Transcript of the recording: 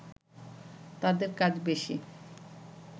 তাদের কাজ বেশি